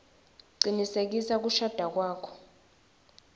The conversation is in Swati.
cinisekisa kushada kwakho